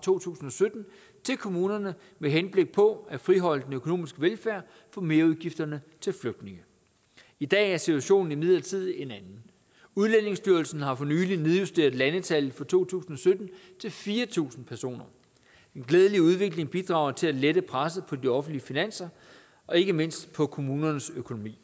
to tusind og sytten til kommunerne med henblik på at friholde den økonomiske velfærd for merudgifterne til flygtninge i dag er situationen imidlertid en anden udlændingestyrelsen har for nylig nedjusteret landstallet for to tusind og sytten til fire tusind personer den glædelige udvikling bidrager til at lette presset på de offentlige finanser og ikke mindst på kommunernes økonomi